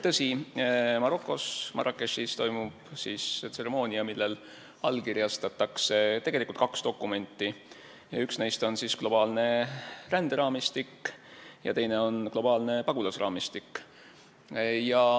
Tõsi, Marokos Marrakechis toimub tseremoonia, millel allkirjastatakse tegelikult kaks dokumenti: üks neist on globaalne ränderaamistik ja teine on globaalne pagulasraamistik.